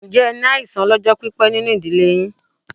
Ǹjẹ́ ẹ ní àìsàn ọ lọ́jọ́ pípé nínú ìdílé yín?